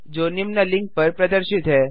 जो निम्न लिंक पर प्रदर्शित है